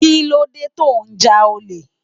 Kilódé tó n já ólé?